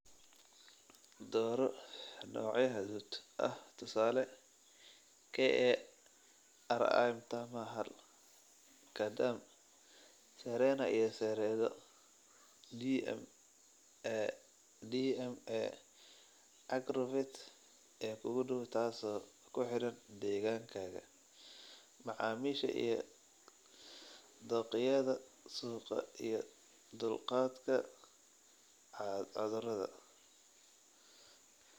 "Dooro noocyo hadhuudh ah tusaale, KARI Mtama-hal, Gadam, Serena iyo Seredo, DMA/Agrovet ee kuugu dhow taaso ku xidhan deegaankaaga, macaamiisha iyo dookhyada suuqa iyo dulqaadka cudurada."